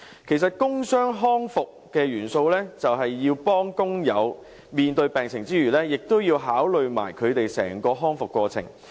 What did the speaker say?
其實，工傷康復的元素是幫助工友面對病情之餘，亦要考慮他們整個康復過程。